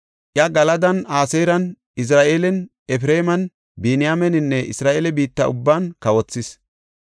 Iya Galadan, Aseeran, Izra7eelan, Efreeman, Biniyaameninne Isra7eele biitta ubban kawothis.